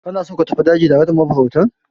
Kana so ka tafi daji tare da mafarautan?